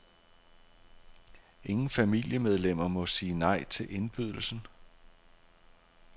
Ingen familiemedlemmer må sige nej til indbydelsen.